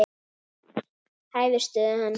Hæfir stöðu hans.